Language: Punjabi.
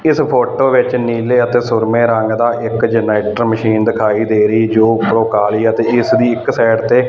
ਇਸ ਫੋਟੋ ਵਿੱਚ ਨੀਲੇ ਅਤੇ ਸੁਰਮੇ ਰੰਗ ਦਾ ਇੱਕ ਜਨਾਈਟਰ ਮਸ਼ੀਨ ਦਿਖਾਈ ਦੇ ਰਹੀ ਜੋ ਉਪਰੋਂ ਕਾਲੀ ਆ ਤੇ ਇਸ ਦੀ ਇੱਕ ਸਾਈਡ ਤੇ--